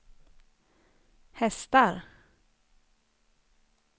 hästar